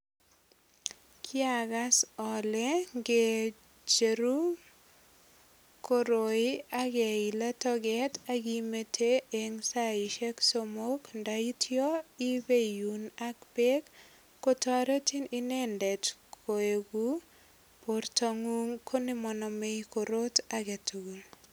Kiagas ale nge cheru koroi ak kiilen toget ak imete en saisiek somok ndaitya ipeiun ak beek kotoretin inendet koegu bortangung ko nemanamei korot age tugul.